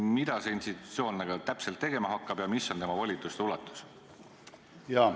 Mida see institutsioon täpselt tegema hakkab ja mis on tema volituste ulatus?